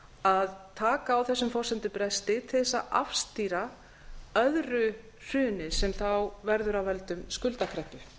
að taka á þessum forsendubresti til þess að afstýra öðru hruni sem þá verður af völdum skuldakreppu